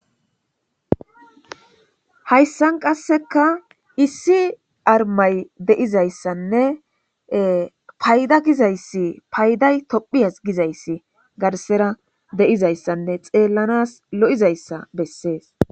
hayssan qasseka issi armay deizayssanne payda gizayssi payday tophiyas gizayssi garsera deizayssanne xeellanas lo7izayssa bessees